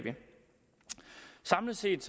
samlet set